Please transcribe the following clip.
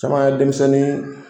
Caman ya denmisɛnnin.